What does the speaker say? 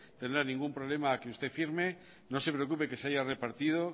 tendrán ningún problema a que usted firme no se preocupe que se haya repartido